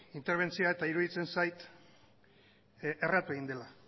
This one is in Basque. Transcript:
interbentzioa eta iruditzen zait erratu egin dela